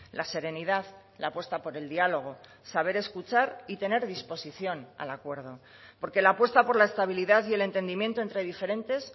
la serenidad la apuesta por el diálogo saber escuchar y tener disposición al acuerdo porque la apuesta por la estabilidad y el entendimiento entre diferentes